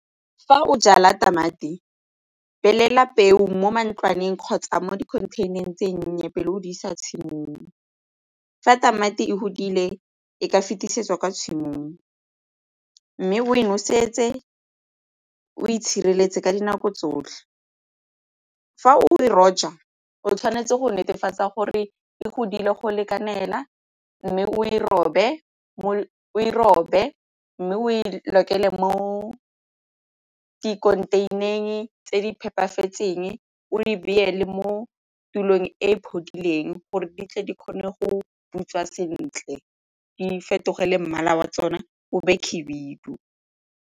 Fa o jala tamati, peo mo ntlwaneng kgotsa mo di-contain-eng e nnye pele o di isa tshimong. Fa tamati e godile e ka fetisetsa kwa tshimong mme bo e noseditse o itshireletse ka dinako tsotlhe. Fa o e roja o tshwanetse go netefatsa gore e godile go itekanela mme o robe mme o e lokela mo contain-areng tse di phepafetseng o di beele mo tulong e gore di tle di kgone go butswa sentle di fetogele mmala wa tsone o be khibidu.